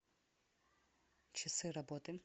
часы работы